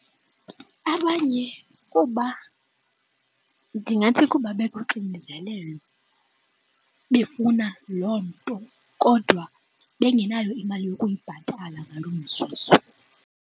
Abanye kuba ndingathi kuba bekuxinezelelo befuna loo nto kodwa bengenayo imali yokuyibhatala ngaloo mzuzu.